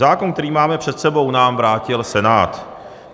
Zákon, který máme před sebou, nám vrátil Senát.